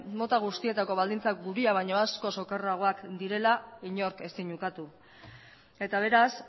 mota guztietako baldintzak gurea baino askoz okerragoak direla inork ezin ukatu eta beraz